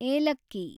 ಏಲಕ್ಕಿ